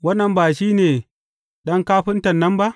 Wannan ba shi ne ɗan kafinta nan ba?